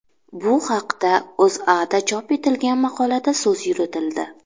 Bu haqda O‘zAda chop etilgan maqolada so‘z yuritildi .